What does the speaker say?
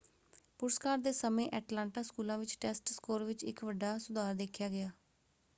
ਪੁਰਸਕਾਰ ਦੇ ਸਮੇਂ ਐਟਲਾਂਟਾ ਸਕੂਲਾਂ ਵਿੱਚ ਟੈਸਟ ਸਕੋਰ ਵਿੱਚ ਇੱਕ ਵੱਡਾ ਸੁਧਾਰ ਦੇਖਿਆ ਗਿਆ।